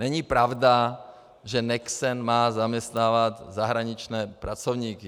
Není pravda, že Nexen má zaměstnávat zahraniční pracovníky.